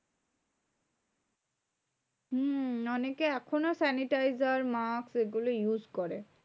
হম অনেকে এখনও sanitizer, mask এগুলো use করে।